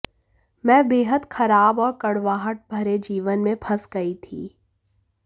मैं बेहद खराब और कड़वाहट भरे जीवन में फंस गई थी